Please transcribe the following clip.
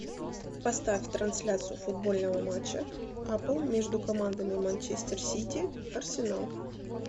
поставь трансляцию футбольного матча апл между командами манчестер сити арсенал